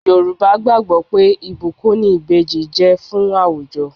Yorùbá gbàgbó pé ìbùkún ni Ìbejì jẹ́ fún àwùjọ.